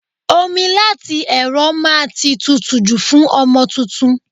Omi láti ẹ̀rọ máa ti tutù jù fún ọmọ tuntun.